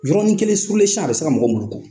Yɔrɔnin kelen a bɛ se ka mɔgɔ mulugu.